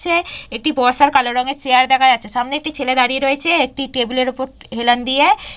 চ্ছে একটি বর্ষার কালো রঙের চেয়ার দেখা যাচ্ছে সামনে একটি ছেলে দাঁড়িয়ে রয়েছে একটি টেবিলের উপর হেলান দিয়ে।